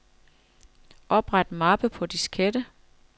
Opret mappe på diskette.